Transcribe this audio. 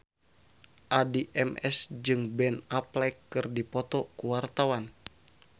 Addie MS jeung Ben Affleck keur dipoto ku wartawan